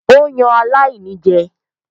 Ó yan aláìní náà jẹ.